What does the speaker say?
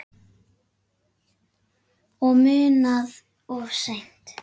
Og munað of seint.